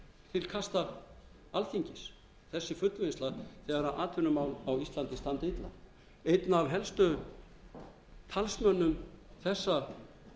til kasta alþingis þessi fullvinnsla þegar atvinnumál á íslandi standa illa einn af helstu talsmönnum þessa